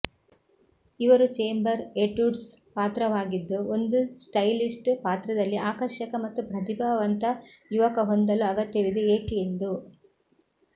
ಇವರು chamber etudes ಪಾತ್ರವಾಗಿದ್ದು ಒಂದು ಸ್ಟೈಲಿಸ್ಟ್ ಪಾತ್ರದಲ್ಲಿ ಆಕರ್ಷಕ ಮತ್ತು ಪ್ರತಿಭಾವಂತ ಯುವಕ ಹೊಂದಲು ಅಗತ್ಯವಿದೆ ಏಕೆ ಎಂದು